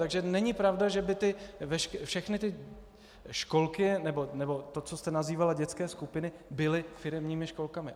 Takže není pravda, že by všechny ty školky nebo to, co jste nazývala, dětské skupiny, byly firemními školkami.